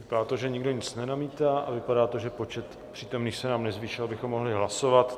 Vypadá to, že nikdo nic nenamítá, a vypadá to, že počet přítomných se nám nezvýšil, abychom mohli hlasovat.